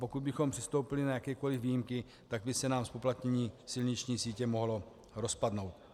Pokud bychom přistoupili na jakékoli výjimky, tak by se nám zpoplatnění silniční sítě mohlo rozpadnout.